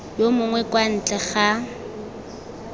yo mongwe kwa ntle ga